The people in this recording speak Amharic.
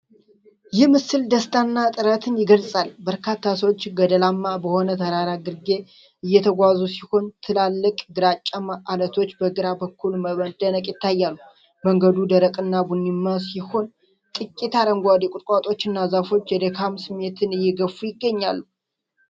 ይህ የምስል ደስታንና ጥረትን ይገልጻል። በርካታ ሰዎች ገደላማ በሆነ ተራራ ግርጌ እየተጓዙ ሲሆን፣ ትላልቅ ግራጫማ ዐለቶች በግራ በኩል በመደነቅ ይታያሉ። መንገዱ ደረቅና ቡኒማ ሲሆን፣ ጥቂት አረንጓዴ ቁጥቋጦዎችና ዛፎች የድካም ስሜትን እየገፉ ይገኛሉ።